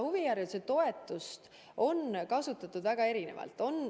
Huvihariduse toetust on kasutatud väga erinevalt.